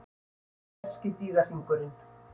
Kínverski dýrahringurinn.